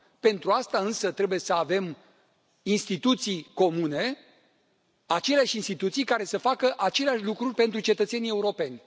Pentru asta însă trebuie să avem instituții comune, aceleași instituții care să facă aceleași lucruri pentru cetățenii europeni.